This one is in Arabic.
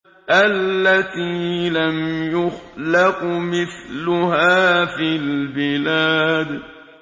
الَّتِي لَمْ يُخْلَقْ مِثْلُهَا فِي الْبِلَادِ